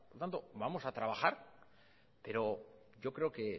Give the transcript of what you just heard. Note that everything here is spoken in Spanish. por tanto vamos a trabajar pero yo creo que